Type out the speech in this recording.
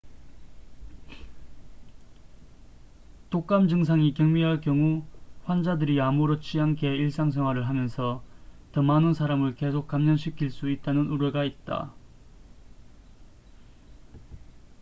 독감 증상이 경미할 경우 환자들이 아무렇지 않게 일상생활을 하면서 더 많은 사람을 계속 감염시킬 수 있다는 우려가 있다